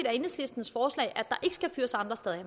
er enhedslistens forslag at der skal fyres andre steder